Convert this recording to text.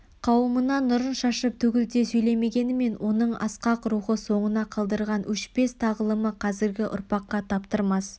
қауымына нұрын шашып төгілте сөйлемегенімен оның асқақ рухы соңына қалдырған өшпес тағылымы қазіргі ұрпаққа таптырмас